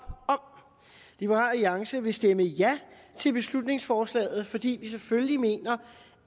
liberal alliance vil stemme ja til beslutningsforslaget fordi vi selvfølgelig mener